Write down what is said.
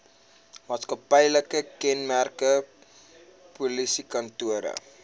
maatskaplike kenmerke polisiekantore